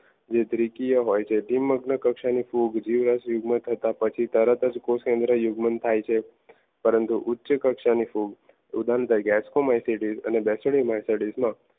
જે દ્વિતીય હોય છે દ્વિ કક્ષાની ફૂગ જીવરસ તથા પછી તરત જ કોષ કેન્દ્રીય યુગમન થાય છે પરંતુ ઉચ્ચ કક્ષાની ફૂગ ઉદાહરણ તરીકે